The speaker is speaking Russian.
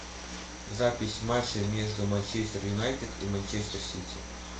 запись матча между манчестер юнайтед и манчестер сити